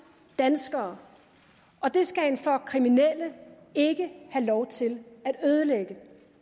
danskere og det skal en flok kriminelle ikke have lov til at ødelægge